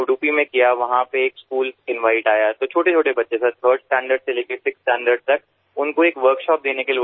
ત્યાં એક શાળાનું આમંત્રણ આવ્યું તો નાનાંનાનાં બાળકો સાહેબ ત્રીજા ધોરણથી લઈને છઠ્ઠા ધોરણ સુધી તેમને એક કાર્યશાળા માટે બોલાવ્યા હતા